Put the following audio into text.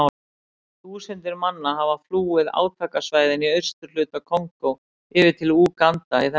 Þúsundir manna hafa flúið átakasvæðin í austurhluta Kongó yfir til Úganda í þessari viku.